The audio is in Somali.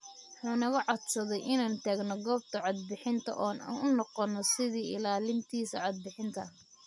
Wuxuu naga codsaday inaan tagno goobta cod bixinta oo aan u noqono sidii ilaalintiisa codbixinta.